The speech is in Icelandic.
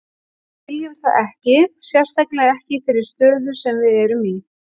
Við viljum það ekki, sérstaklega ekki í þeirri stöðu sem við erum í.